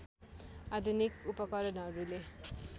आधुनिक उपकरणहरूले